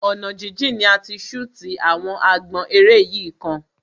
Ọ̀nà jíjìn ni a ti ṣútì àwọn àgbọn eré yìí kan.